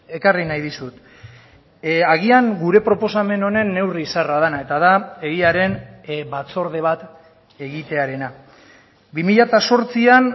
ekarri nahi dizut agian gure proposamen honen neurri zaharra dena eta da egiaren batzorde bat egitearena bi mila zortzian